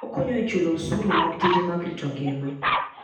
Okonyo e chulo osuru mag tije mag rito ngima.